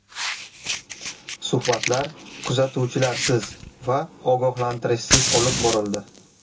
Suhbatlar kuzatuvchilarsiz va ogohlantirishsiz olib borildi.